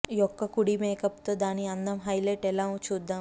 యొక్క కుడి మేకప్ తో దాని అందం హైలైట్ ఎలా చూద్దాం